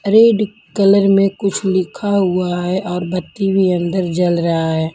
Red colour में कुछ लिखा हुआ है और बत्ती भी अंदर जल रहा है.